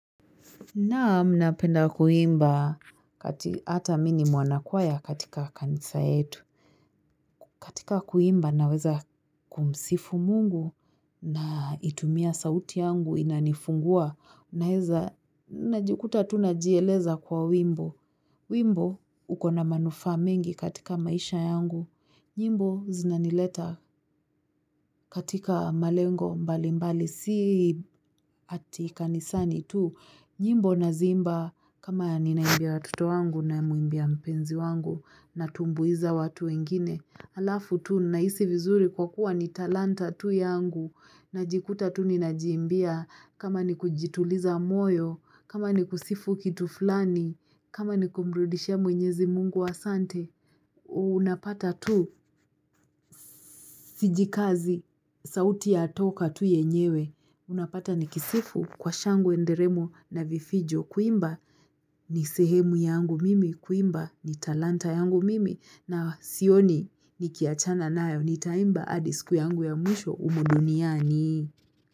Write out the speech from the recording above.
Naam napenda kuimba hata mi ni mwanakwaya katika kanisa yetu. Katika kuimba naweza kumsifu Mungu na itumia sauti yangu inanifungua. Naeza najikuta tu najieleza kwa wimbo. Wimbo ukona manufaa mengi katika maisha yangu. Nyimbo zinanileta katika malengo mbali mbali si ati kanisani tu. Nyimbo naziimba kama ninaimbia watoto wangu namuimbia mpenzi wangu natumbuiza watu wengine. Alafu tu nahisi vizuri kwa kuwa ni talanta tu yangu najikuta tu ninajiimbia kama ni kujituliza moyo, kama ni kusifu kitu fulani, kama ni kumrudishia mwenyezi Mungu asante. Unapata tu sijikazi sauti yatoka tu yenyewe Unapata nikisifu kwa shangwe nderemo na vifijo kuimba ni sehemu yangu mimi kuimba ni talanta yangu mimi na sioni ni kiachana nayo ni taimba hadi siku yangu ya mwisho humu duniani.